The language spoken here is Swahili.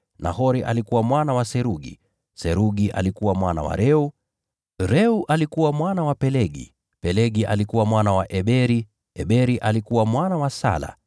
Nahori alikuwa mwana wa Serugi, Serugi alikuwa mwana wa Reu, Reu alikuwa mwana wa Pelegi, Pelegi alikuwa mwana wa Eberi, Eberi alikuwa mwana wa Sala,